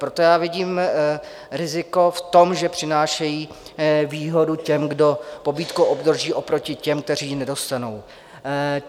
Proto já vidím riziko v tom, že přinášejí výhodu těm, kdo pobídku obdrží, oproti těm, kteří ji nedostanou.